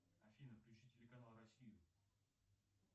афина включи телеканал россию